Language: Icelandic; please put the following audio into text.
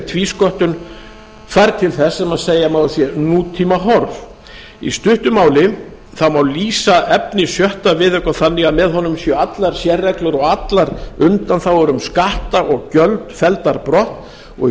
tvísköttun færð til þess sem segja má að sé nútímahorf í stuttu máli má lýsa efni sjöttu viðauka þannig að með honum séu allar sérreglur og allar undanþágur um skatta og gjöld felldar brott og í